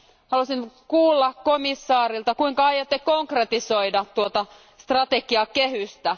Haluaisin kuulla komissaarilta, kuinka aiotte konkretisoida tuota strategiakehystä.